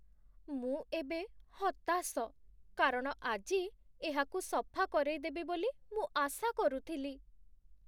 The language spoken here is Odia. ମୁଁ ଏବେ ହତାଶ, କାରଣ ଆଜି ଏହାକୁ ସଫା କରେଇଦେବି ବୋଲି ମୁଁ ଆଶା କରୁଥିଲି।